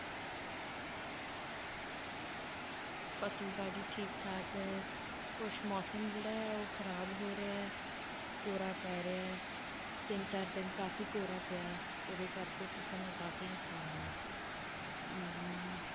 ਫਸਲਬਾੜੀ ਠੀਕ ਠਾਕ ਹੈ, ਕੁਛ ਮੌਸਮ ਜਿਹੜਾ ਹੈ ਉਹ ਖ਼ਰਾਬ ਹੋ ਰਿਹਾ ਹੈ, ਕੋਹਰਾ ਪੈ ਰਿਹਾ ਹੈ, ਤਿੰਨ ਚਾਰ ਦਿਨ ਕਾਫ਼ੀ ਕੋਹਰਾ ਪਿਆ, ਉਹਦੇ ਕਰਕੇ ਫਸਲ ਨੂੰ ਕਾਫ਼ੀ ਨੁਕਸਾਨ ਹੈ, ਅਮ